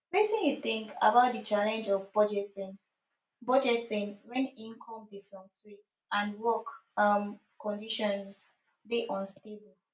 wetin you think about di challenge of budgeting budgeting when income dey fluctuate and work um conditions dey unstable